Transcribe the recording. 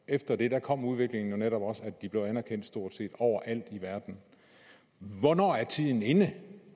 efter det kom udviklingen jo netop og de blev anerkendt stort set over alt i verden hvornår er tiden inde